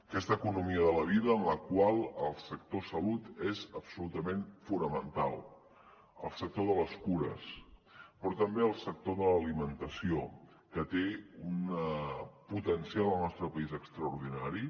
aquesta economia de la vida en la qual el sector salut és absolutament fonamental el sector de les cures però també el sector de l’alimentació que té un potencial al nostre país extraordinari